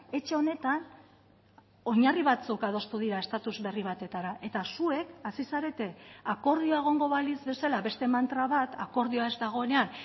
etxe honetan oinarri batzuk adostu dira estatuz berri batetara eta zuek hasi zarete akordioa egongo balitz bezala beste mantra bat akordioa ez dagoenean